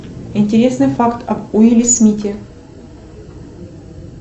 интересный факт об уилле смите